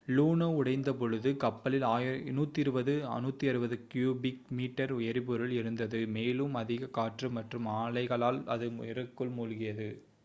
லூனோ உடைந்தபொழுது கப்பலில் 120-160 cubic metre எரிபொருள் இருந்தது மேலும் அதிக காற்று மற்றும் அலைகளால் அது நீருக்குள் மூழ்கியது